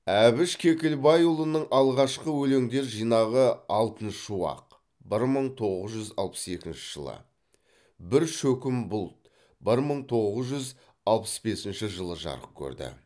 әбіш кекілбайұлының алғашқы өлеңдер жинағы алтын шуақ бір мың тоғыз жүз алпыс екінші жылы бір шөкім бұлт бір мың тоғыз жүз алпыс бесінші жылы жарық көрді